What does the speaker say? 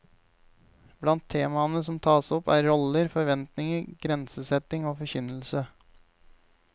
Blant temaene som taes opp er roller, forventninger, grensesetting og forkynnelse.